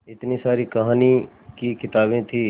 इतनी सारी कहानी की किताबें थीं